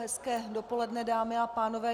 Hezké dopoledne, dámy a pánové.